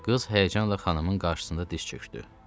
Qız həyəcanla xanımın qarşısında diz çökdü.